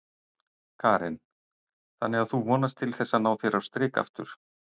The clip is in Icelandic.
Karen: Þannig að þú vonast til þess að ná þér aftur á strik?